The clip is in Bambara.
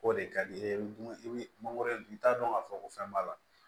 O de ka di i ye i bi mangoro i t'a dɔn k'a fɔ ko fɛn b'a la